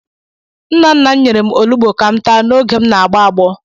Nna nna m nyere m olugbu ka m taa oge na-agbọ agbọ.